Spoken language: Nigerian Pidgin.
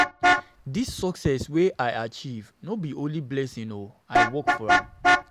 Dis success wey I achieve no be only blessing o, I work for am.